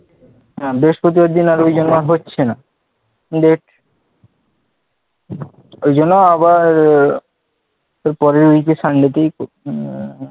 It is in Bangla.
বৃহস্পতিবার দিন হচ্ছে না এবার ঐ জন্য আবার communication